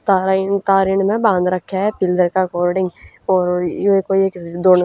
तारा तार इणनह बाद रख्या हं पिल्लर क अकॉर्डिंग और यो एक कोई धोलो--